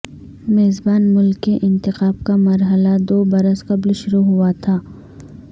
میزبان ملک کے انتخاب کا مرحلہ دو برس قبل شروع ہوا تھا